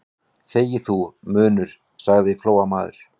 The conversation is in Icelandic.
Þegi þú, munnur, sagði Flóamaður.